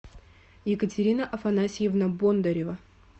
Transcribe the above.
екатерина афанасьевна бондарева